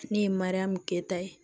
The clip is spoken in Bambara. Ne ye mariyamu keta ye